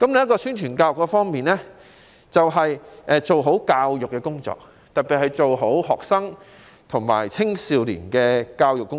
在宣傳教育方面，我們必須做好教育工作，特別是學生和青少年的教育工作。